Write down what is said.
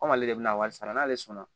Komi ale bɛna wari sara n'ale sɔnna